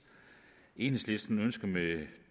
enhedslisten ønsker med